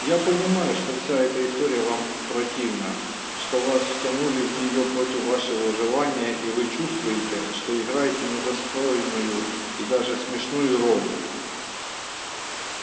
я понимаю что вся эта история вам противна что вас втянули в нее против вашего желания и вы чувствуете что играете недостойную и даже смешную роль